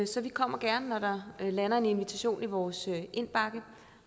så vi kommer gerne når der lander en invitation i vores indbakke